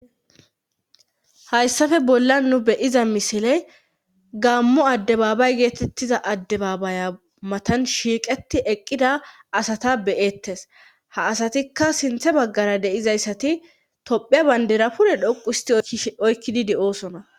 hayssafe bolla nu beyiza misiley gammo addebaabay geetettiza addebaabaya matan shiiqeti eqqida asata beyettes ha asatikka sinthe baggara deizayssati tophia bayndera pule dhoqu histi oykkidi de7oosona